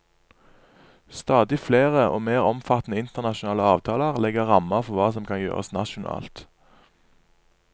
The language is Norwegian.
Stadig flere og mer omfattende internasjonale avtaler legger rammer for hva som kan gjøres nasjonalt.